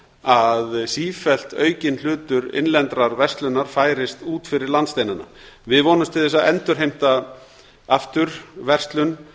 að sífellt aukinn hlutur innlendrar verslunar færist út fyrir landsteinana við vonumst til þess að endurheimta aftur verslun